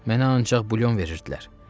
Mənə ancaq bulyon verirdilər.